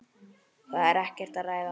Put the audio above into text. Það er ekkert að ræða.